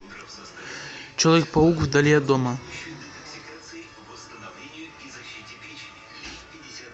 человек паук вдали от дома